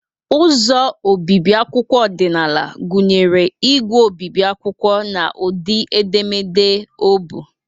Ụzọ obibi akwụkwọ ọdịnala gụnyere ígwè obibi akwụkwọ na ụdị edemede obu.